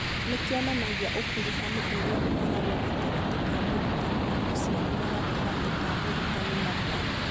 Nĩ kĩonanagia ũkuruhanu ũrĩa ũkoragwo gatagatĩ ka mũrutani na mũciari na gatagatĩ ka mũrutani na mwana.